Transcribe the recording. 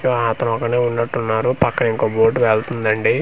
ఆతను ఒక్కడే ఉన్నట్టున్నారు పక్కన ఇంకో బోర్డు వెళుతుందండి.